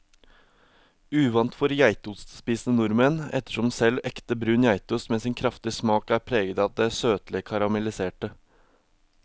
Uvant for geitostspisende nordmenn, ettersom selv ekte brun geitost med sin kraftige smak er preget av det søtlige karamelliserte.